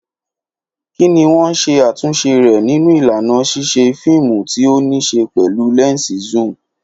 Kí ni wọ́n ṣe àtúnṣe rẹ̀ nínú ìlànà ṣíṣe fíìmù tí ó ní í ṣe pẹ̀lú lẹ́ńsì zoom?